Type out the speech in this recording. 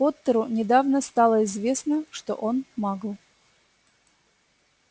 поттеру недавно стало известно что он магл